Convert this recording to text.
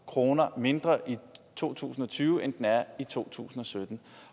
kroner mindre i to tusind og tyve end den er i to tusind og sytten